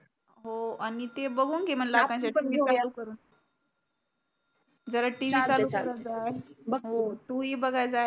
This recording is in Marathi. हो आणि ते बगुन घे म्हनल जरा TV चालू करत जा बग तुही बघायला जाय